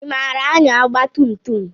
I maara anya ọgba tum tum?